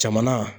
Jamana